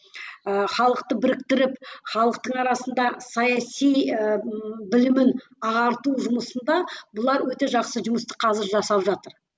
ыыы халықты біріктіріп халықтың арасында саяси ы білімін ағарту жұмысында бұлар өте жақсы жұмысты қазір жасап жатыр